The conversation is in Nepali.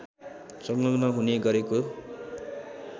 संलग्न हुने गरेको